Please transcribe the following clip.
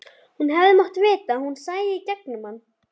Hann hefði mátt vita að hún sæi í gegnum hann.